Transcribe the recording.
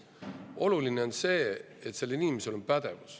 Oluline on see, et see inimene oleks pädev.